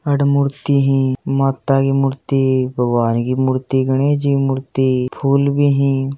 आठह मूर्ति ही माता की मूर्ति भगवान की मूर्ति गणेशजी की मूर्ति फूल भी हीं ।